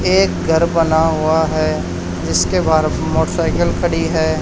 एक घर बना हुआ है जिसके बाहर मोटरसाइकिल खड़ी है।